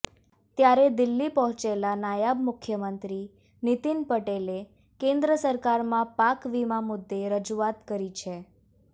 ત્યારે દિલ્હી પહોંચેલા નાયબ મુખ્યમંત્રી નીતિન પટેલે કેન્દ્ર સરકારમાં પાક વીમા મુદ્દે રજૂઆત કરી છે